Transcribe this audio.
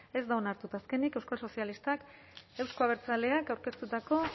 ez da onartu eta azkenik euskal sozialistak euzko abertzaleak aurkeztutako